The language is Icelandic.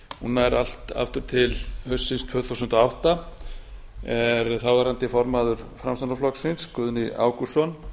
hún nær allt aftur til haustsins tvö þúsund og átta er þáverandi formaður framsóknarflokksins guðni ágústsson